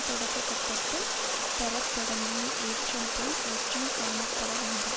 தொடக்க கட்டத்தில் பெறத்தொடங்கிய ஏற்றம் போல் ஏற்றம் காணப்படவேண்டும்